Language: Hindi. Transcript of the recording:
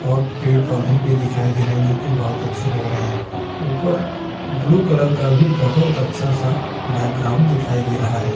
और पेड़-पौधे भी दिखाई दे रहे हैं जोकि बहोत अच्छे लग रहे हैं। ऊपर ब्लू कलर का भी बहोत अच्छा-सा बैकग्राउंड भी दिखाई दे रहा है।